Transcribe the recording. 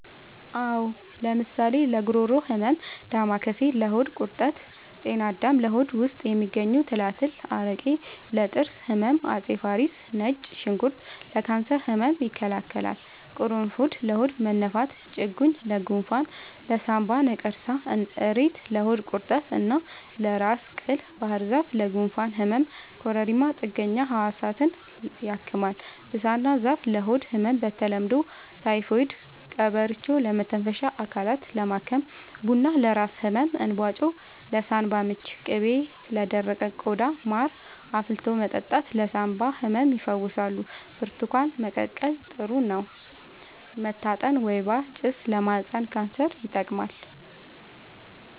አዎ ለምሳሌ ለጉሮሮ ህመም ዳማከሴ ለሆድ ቁርጠት ጤና አዳም ለሆድ ውስጥ የሚገኙ ትላትል አረቄ ለጥርስ ህመም አፄ ፋሪስ ነጭ ሽንኩርት ለካንሰር ህመም ይከላከላል ቁሩፉድ ለሆድ መነፋት ጭቁኝ ለጎንፋን ለሳንባ ነቀርሳ እሬት ለሆድ ቁርጠት እና ለራስ ቅል ባህርዛፍ ለጉንፋን ህመም ኮረሪማ ጥገኛ ህዋሳትን ያክማል ብሳና ዛፍ ለሆድ ህመም በተለምዶ ታይፎድ ቀበርቿ ለመተንፈሻ አካልን ለማከም ቡና ለራስ ህመም እንባጮ ለሳንባ ምች ቅቤ ለደረቀ ቆዳ ማር አፍልቶ መጠጣት ለሳንባ ህመም ይፈውሳል ብርቱካን መቀቀል ጥሩ ነው መታጠን ወይባ ጭስ ለማህፀን ካንሰር ይጠቅማል